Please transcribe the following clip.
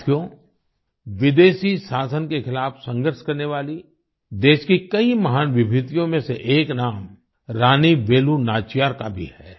साथियो विदेशी शासन के खिलाफ़ संघर्ष करने वाली देश की कई महान विभूतियों में से एक नाम रानी वेलु नाचियार का भी है